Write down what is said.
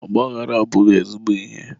ọgbaaghara abụghị ezigbo ihe.